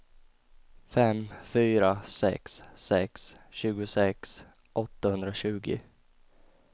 fem fyra sex sex tjugosex åttahundratjugo